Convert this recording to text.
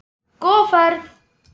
Góða ferð